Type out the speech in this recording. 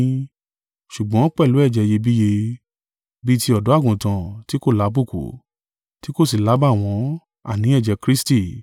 Ṣùgbọ́n pẹ̀lú ẹ̀jẹ̀ iyebíye, bí i ti ọ̀dọ́-àgùntàn ti kò lábùkù, tí kò sì lábàwọ́n, àní, ẹ̀jẹ̀ Kristi.